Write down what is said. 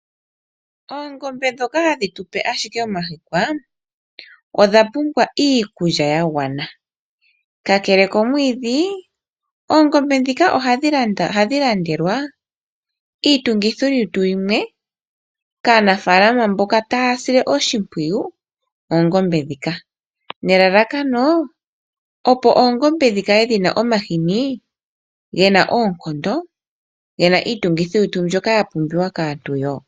Oongombe ndhoka hadhi tu pe ashike omahikwa, odha pumbwa iikulya ya gwana. Kakele komwiidhi, oongombe ndhika ohadhi landelwa iitungithilutu yimwe kaanafaalama mboka taya sile oshimpwiyu oongombe ndhika nelalakano, opo oongombe dhi kale dhi na omahini ge na oonkondo, ge na iitungithilutu mbyoka ya pumbiwa kaantu woo.